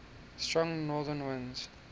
strong northern winds